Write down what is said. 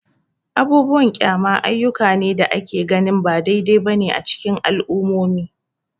Abubuwan kyama ayyuka ne da ake ganin ba daidai ba ne a cikin al'ummomi.